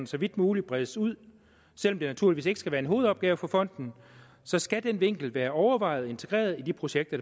så vidt muligt bredes ud selv om det naturligvis ikke skal være en hovedopgave for fonden så skal den vinkel være overvejet og integreret i de projekter